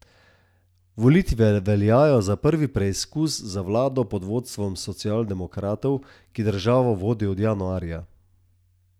Volitve veljajo za prvi preizkus za vlado pod vodstvom socialdemokratov, ki državo vodi od januarja.